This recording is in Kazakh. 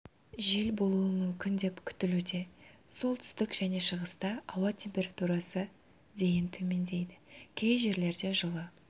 жел болуы мүмкін деп күтілуде солтүстік және шығыста ауа температурасы дейін төмендейді кей жерлерде жылы